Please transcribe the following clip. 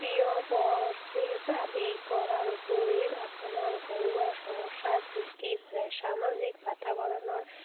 কৰাৰ উপৰি আপোনাৰ ঘৰুৱা সমস্যাৰ সৃষ্টি কৰে, সামাজিক বাতাবৰণৰ